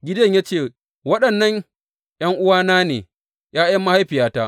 Gideyon ya ce, Waɗannan ’yan’uwana ne, ’ya’yan mahaifiyata.